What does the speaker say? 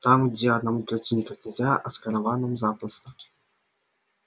там где одному пройти никак нельзя а с караваном запросто